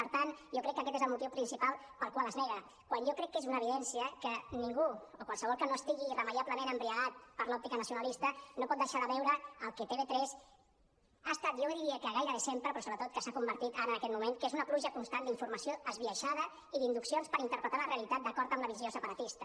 per tant jo crec que aquest és el motiu principal pel qual es nega quan jo crec que és una evidència que ningú o qualsevol que no estigui irremeiablement embriagat per l’òptica nacionalista no pot deixar de veure el que tv3 ha estat jo diria que gairebé sempre però sobretot en què s’ha convertit ara en aquest moment que és una pluja constant d’informació esbiaixada i d’induccions per interpretar la realitat d’acord amb la visió separatista